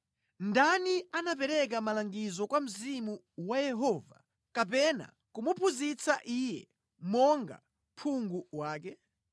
Ndani anapereka malangizo kwa Mzimu wa Yehova kapena kumuphunzitsa Iye monga phungu wake?